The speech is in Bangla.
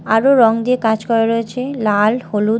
আরও রং দিয়ে কাজ করা রয়েছে লাল হলুদ--